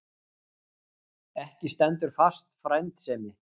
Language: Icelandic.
Ekki stendur fast frændsemi.